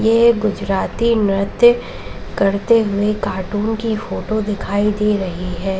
ये एक गुजराती नृत्य करते हुए कार्टून की फोटो दिखाई दे रही है।